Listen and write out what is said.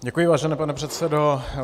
Děkuji, vážený pane předsedo.